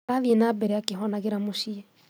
Arathiĩ na mbere akĩhonagĩra mũciĩ